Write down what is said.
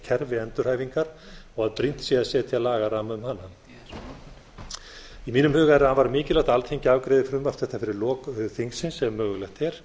kerfi endurhæfingar og að brýnt sé að setja lagaramma hana í mínum huga er afar mikilvægt að alþingi afgreiði frumvarp þetta fyrir lok þingsins ef mögulegt er